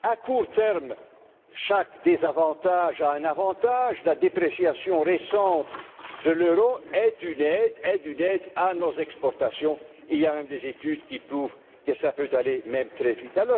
À court terme, chaque désavantage a un avantage, la dépréciation récente de l'euro est une aide à nos exportations et il y a même des études qui prouvent que cela peut aller très